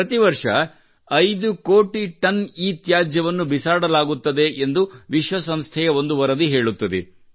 ಪ್ರತಿ ವರ್ಷ 50 ದಶಲಕ್ಷ ಟನ್ ಇತ್ಯಾಜ್ಯವನ್ನು ಬಿಸಾಡಲಾಗುತ್ತದೆ ಎಂದು ವಿಶ್ವಸಂಸ್ಥೆಯ ಒಂದು ವರದಿ ಹೇಳುತ್ತದೆ